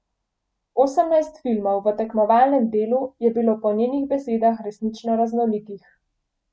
Osemnajst filmov v tekmovalnem delu je bilo po njenih besedah resnično raznolikih.